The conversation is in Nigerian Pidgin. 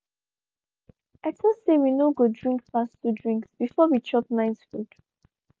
i talk say we no go drink pass 2 drinks before we chop night food